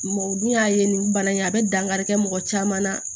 Mɔgɔ dun y'a ye nin bana in a bɛ dankari kɛ mɔgɔ caman na